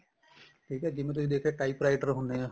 ਠੀਕ ਏ ਜਿਵੇਂ ਤੁਸੀਂ ਦੇਖਿਆ type writer ਹੁੰਨੇ ਏ